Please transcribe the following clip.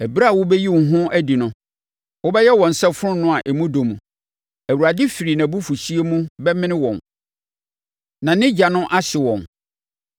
Ɛberɛ a wobɛyi wo ho adi no wobɛyɛ wɔn sɛ fononoo a emu adɔ. Awurade firi nʼabufuhyeɛ mu bɛmene wɔn, na ne ogya no ahye wɔn.